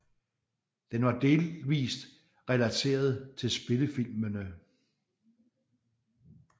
Den var delvist relateret til spillefilmene